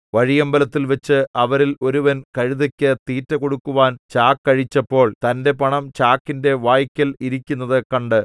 വഴിയമ്പലത്തിൽവച്ച് അവരിൽ ഒരുവൻ കഴുതയ്ക്കു തീറ്റ കൊടുക്കുവാൻ ചാക്ക് അഴിച്ചപ്പോൾ തന്റെ പണം ചാക്കിന്റെ വായ്ക്കൽ ഇരിക്കുന്നത് കണ്ട്